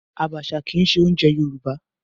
Abacha kìí se oúnjẹ Yorùbá